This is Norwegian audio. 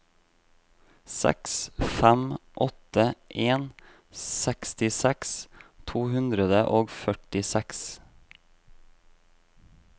seks fem åtte en sekstiseks to hundre og førtiseks